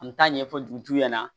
An mi taa ɲɛfɔ dugutigiw ɲɛna